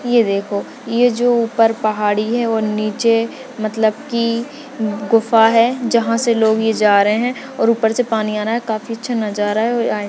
ये देखो ये जो ऊपर पहाड़ी है और नीचे मतलब की गुफा है जहाँ से लोग ये जा रहे है और ऊपर से पानी पानी आरा है काफी अच्छा नजारा है --